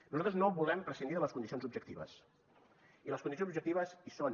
nosaltres no volem prescindir de les condicions objectives i les condicions objectives hi són